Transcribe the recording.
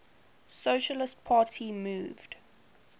socialist party moved